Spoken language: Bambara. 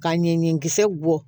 Ka ɲɛɲɛkisɛ bɔ